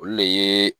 Olu le ye